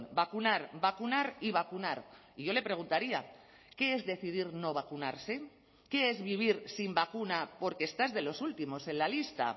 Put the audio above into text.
vacunar vacunar y vacunar y yo le preguntaría qué es decidir no vacunarse qué es vivir sin vacuna porque estás de los últimos en la lista